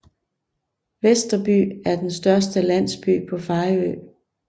Vesterby er den største landsby på Fejø